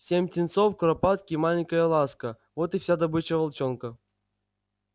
семь птенцов куропатки и маленькая ласка вот и вся добыча волчонка